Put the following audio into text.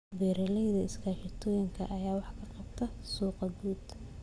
Beeralayda iskaashatooyinka ayaa wax ka qabta suuqa guud.